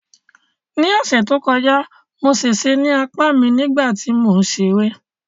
Ní ọ̀sẹ̀ tó kọjá, mo ṣèṣe ní apá mi nígbà tí mò ń ṣeré